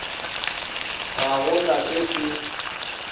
ga go na se se